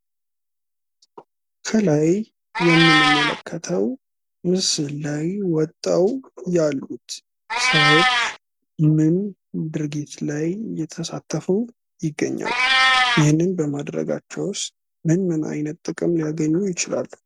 ከላይ የምንመለከተው ምስል ላይ ወጥተው ያሉት ሰዎች ምን ድርጊት ላይ እየተሳተፉ ይገኛሉ? ይህንን በማድረጋቸውስ ምን ምን አይነት ጥቅም ሊያገኙ ይችላሉ?